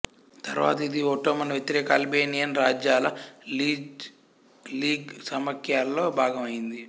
తర్వాత ఇది ఒట్టోమన్ వ్యతిరేక అల్బేనియన్ రాజ్యాల లీజా లీగ్ సమాఖ్యలో భాగం అయింది